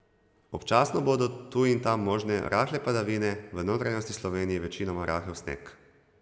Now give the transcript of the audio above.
Občasno bodo tu in tam možne rahle padavine, v notranjosti Slovenije večinoma rahel sneg.